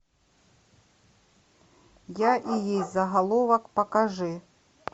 я и есть заголовок покажи